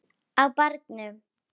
Á barnum!